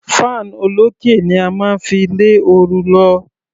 Fan olókè ni a máa ń fi lé oru lọ.